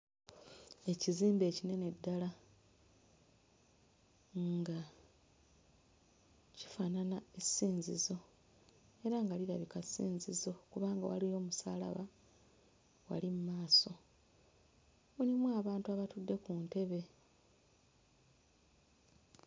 Ekizimbe ekinene ddala nga kifaanana essinzizo era nga lirabika ssinzizo kubanga waliwo omusaalaba wali mu maaso. Mulimu abantu abatudde ku ntebe.